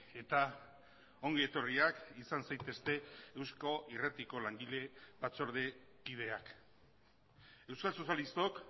eta ongi etorriak izan zaitezte eusko irratiko langile batzordekideak euskal sozialistok